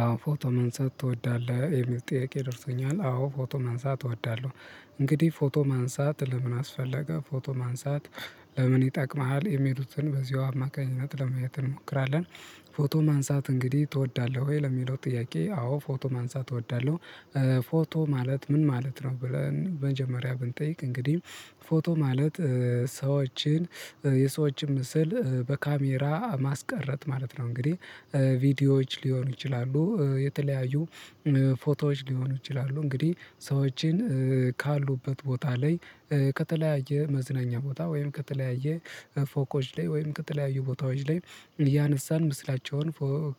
አዎ ፎቶ ማንሳት ትወዳለህ የሚል ጥያቄ ደርሶኛል። አዎ ፎቶ ማንሳት እወዳለሁ እንግዲህ ፎቶ ማንሳት ለምን አስፈለገ ፎቶ ማንሳት? ለምን ይጠቅምሃል የሚሉትን በዚሁ አማካኝነት ለማየት እንሞክራለን። ፎቶ ማንሳት እንግዲህ ትወዳለህ ወይ ለሚለው ጥያቄ አዎ ፎቶ ማንሳት እወዳለሁ። ፎቶ ማለት ምን ማለት ነው? ብለን መጀመሪያ ብንጠይቅ እንግዲህ ፎቶ ማለት ሰዎችን የሰዎችን ምስል በካሜራ ማስቀረት ማለት ነው። እንግዲህ ቪዲዮዎች ሊሆኑ ይችላሉ የተለያዩ ፎቶዎች ሊሆኑ ይችላሉ። እንግዲህ ሰዎችን ካሉበት ቦታ ላይ ከተለያየ መዝናኛ ቦታ ወይም ከተለያየ ፎቆች ላይ ወይም ከተለያዩ ቦታዎች ላይ እያነሳን ምስላቸውን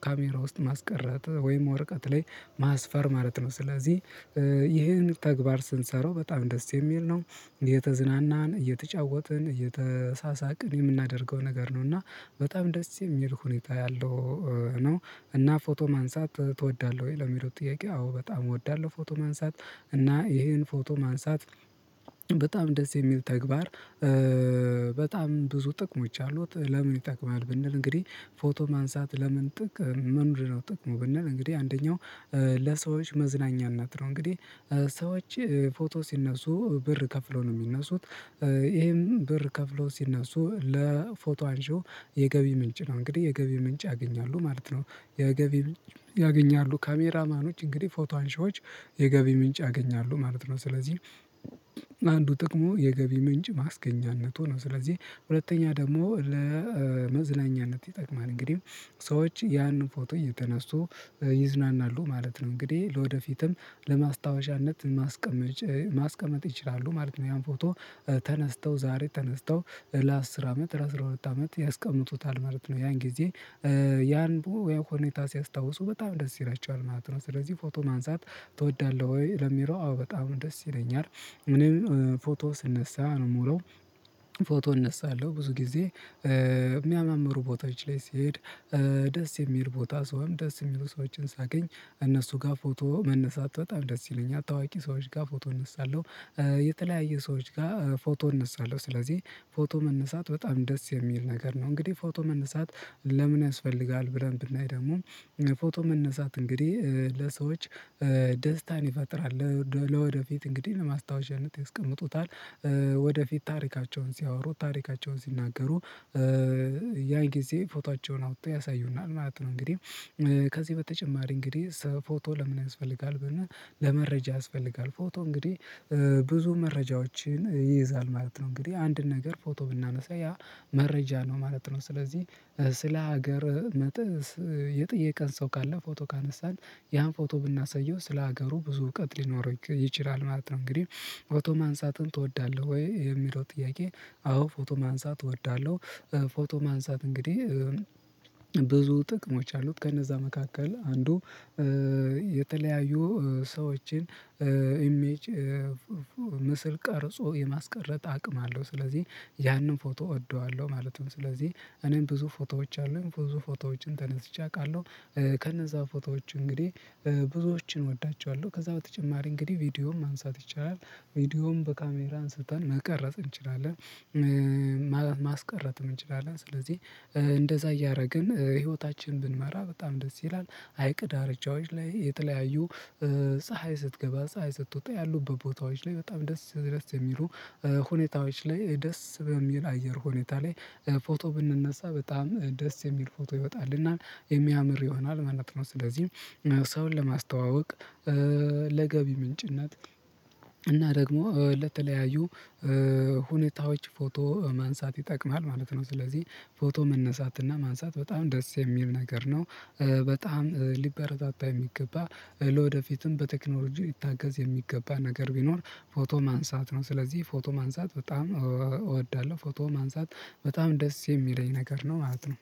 ካሜራ ውስጥ ማስቀረት ወይም ወረቀት ላይ ማስፈር ማለት ነው። ስለዚህ ይሄን ተግባር ስንሰራው በጣም ደስ የሚል ነው። እየተዝናናን እየተጫወትን እየተሳሳቅን የምናደርገው ነገር ነው። እና በጣም ደስ የሚል ሁኔታ ያለው ነው። እና ፎቶ ማንሳት ትወዳለህ ወይ? ለሚለው ጥያቄ አዎ በጣም እወዳለሁ ፎቶ ማንሳት። እና ይሄን ፎቶ ማንሳት በጣም እንደዚህ የሚል ተግባር። በጣም ብዙ ጥቅሞች አሉት። ለምን ይጠቅማል ብንል እንግዲህ ፎቶ ማንሳት ለምን ጥቅም ምድን ነው? ጥቅሙ ብንል እንግዲህ አንደኛው ለሰዎች መዝናኛነት ነው። እንግዲህ ሰዎች ፎቶ ሲነሱ ብር ከፍለው ነው የሚነሱት። ይህም ብር ከፍለው ሲነሱ ለፎቶ አንሺው የገቢ ምንጭ ነው። እንግዲህ የገቢ ምንጭ ያገኛሉ ማለት ነው። የገቢ ያገኛሉ ካሜራማኖች እንግዲህ ፎቶ አንሺዎች የገቢ ምንጭ ያገኛሉ ማለት ነው። ስለዚህ አንዱ ጥቅሙ የገቢ ምንጭ ማስገኛነቱ ነው። ስለዚህ ሁለተኛ ደግሞ ለመዝናኛነት ይጠቅማል። እንግዲህ ሰዎች ያንን ፎቶ እየተነሱ ይዝናናሉ ማለት ነው። እንግዲህ ለወደፊትም ለማስታወሻነት ማስቀመጥ ይችላሉ ማለት ነው። ያን ፎቶ ተነስተው ዛሬ ተነስተው ለአስር አመት ለአስራ ሁለት አመት ያስቀምጡታል ማለት ነው። ያን ጊዜ ያን ብሎ ያው ሁኔታ ሲያስታውሱ በጣም ደስ ይላቸዋል ማለት ነው። ስለዚህ ፎቶ ማንሳት ትወዳለህ ወይ? ለሚለው አዎ በጣም ደስ ይለኛል። እኔም ፎቶ ስነሳ ነው የምውለው። ፎቶ እነሳለሁ ብዙ ጊዜ የሚያመምሩ ፎቶዎች ላይ ስሄድ ደስ የሚል ቦታ ሰውም ደስ የሚሉ ሰዎችን ሳገኝ እነሱ ጋር ፎቶ መነሳት በጣም ደስ ይለኛል ታዋቂ ሰዎች ጋር ፎቶ እነሳለሁ። የተለያየ ሰዎች ጋር ፎቶ እነሳለሁ። ስለዚህ ፎቶ መነሳት በጣም ደስ የሚል ነገር ነው። እንግዲህ ፎቶ መነሳት ለምን ያስፈልጋል? ብለን ብናይ ደግሞ ፎቶ መነሳት እንግዲህ ለሰዎች ደስታን ይፈጥራል። ለወደፊት እንግዲህ ለማስታወሻነት ይስቀምጡታል። ወደፊት ታሪካቸውን ሲያወሩ ታሪካቸውን ሲናገሩ ያን ጊዜ ፎቶአቸውን አውጥተው ያሳዩናል ማለት ነው። እንግዲህ ከዚህ በተጨማሪ እንግዲህ ፎቶ ለምን ያስፈልጋል? ብንል ለመረጃ ያስፈልጋል ፎቶ እንግዲህ ብዙ መረጃዎችን ይይዛል ማለት ነው። እንግዲህ አንድን ነገር ፎቶ ብናነሳ ያ መረጃ ነው ማለት ነው። ስለዚህ ስለ ሀገር መጥተህ የጠየቀን ሰው ካለ ፎቶ ካነሳን ያን ፎቶ ብናሳየው ስለ ሀገሩ ብዙ እውቀት ሊኖረው ይችላል ማለት ነው። እንግዲህ ፎቶ ማንሳትን ትወዳለህ ወይ? የሚለው ጥያቄ አዎ ፎቶ ማንሳት እወዳለሁ። ፎቶ ማንሳት እንግዲህ ብዙ ጥቅሞች አሉት። ከነዛ መካከል አንዱ የተለያዩ ሰዎችን ኢሜጅ ምስል ቀርጾ የማስቀረት አቅም አለው። ስለዚህ ያንን ፎቶ እወደዋለሁ ማለትም ስለዚህ እኔም ብዙ ፎቶዎች አሉኝ ብዙ ፎቶዎችን ተነስቼ አውቃለሁ። ከነዛ ፎቶዎች እንግዲህ ብዙዎችን እወዳቸዋለሁ። ከዛ በተጨማሪ እንግዲህ ቪዲዮም ማንሳት ይቻላል። ቪዲዮም በካሜራን አስተን መቅረጽ እንችላለን። ማስቀረጽም እንችላለን። ስለዚህ እንደዛ እያደረግን ህይወታችን ብንመራ በጣም ደስ ይላል። ሀይቅ ዳርቻዎች ላይ የተለያዩ ፀሀይ ስትገባ ፀሀይ ስትወጣ ያሉበት ቦታዎች ላይ በጣም ደስ ደስ የሚሉ ሁኔታዎች ላይ ደስ በሚል አየር ሁኔታ ላይ ፎቶ ብንነሳ በጣም ደስ የሚል ፎቶ ይወጣልናል የሚያምር ይሆናል ማለት ነው። ስለዚህ ሰውን ለማስተዋወቅ ለገቢ ምንጭነት እና ደግሞ ለተለያዩ ሁኔታዎች ፎቶ ማንሳት ይጠቅማል ማለት ነው። ስለዚህ ፎቶ መነሳትና ማንሳት በጣም ደስ የሚል ነገር ነው። በጣም ሊበረታታ የሚገባ ለወደፊትም በቴክኖሎጂ ሊታገዝ የሚገባ ነገር ቢኖር ፎቶ ማንሳት ነው። ስለዚህ ፎቶ ማንሳት በጣም እወዳለሁ። ፎቶ ማንሳት በጣም ደስ የሚለኝ ነገር ነው ማለት ነው።